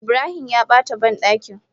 Ibrahim ya bata bandakin.